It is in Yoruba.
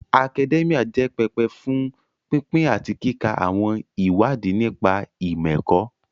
Akadẹ́míà jẹ́ pẹpẹ fún pínpín àti kíka àwọn ìwádìí nípa ìmọ̀-ẹ̀kọ́